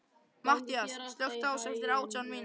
Mattías, slökktu á þessu eftir átján mínútur.